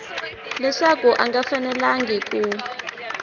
leswaku a nga fanelangi ku